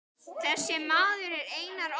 Þessi maður er Einar Ól.